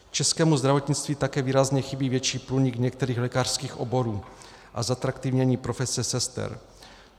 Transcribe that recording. Českému zdravotnictví také výrazně chybí větší průnik některých lékařských oborů a zatraktivnění profese sester.